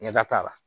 Ɲɛda t'a la